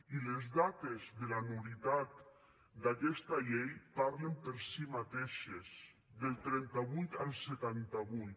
i les dates de la nul·litat d’aquesta llei parlen per si mateixes del trenta vuit al setanta vuit